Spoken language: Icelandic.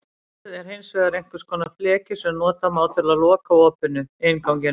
Hurð er hins vegar einhvers konar fleki sem nota má til að loka opinu, innganginum.